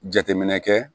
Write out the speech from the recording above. Jateminɛ kɛ